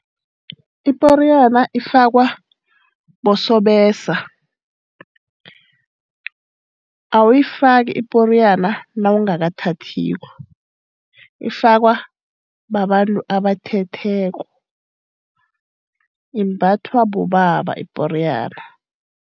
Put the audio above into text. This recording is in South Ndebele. Iporiyana ifakwa bosobesa. Awuyifaki iporiyana nawungakathathiko. Ifakwa babantu abathetheko. Imbathwa bobaba iporiyana.